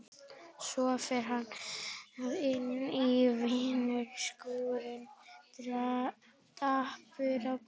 Svo fer hann inn í vinnuskúrinn dapur í bragði.